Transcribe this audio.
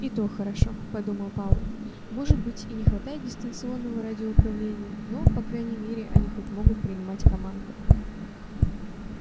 и то хорошо подумал пауэлл может быть и не хватает дистанционного радиоуправления но по крайней мере они хоть могут принимать команды